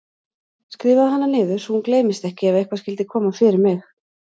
Skrifaðu hana niður svo hún gleymist ekki ef eitthvað skyldi koma fyrir mig.